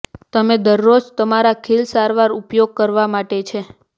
તમે દરરોજ તમારા ખીલ સારવાર ઉપયોગ કરવા માટે છે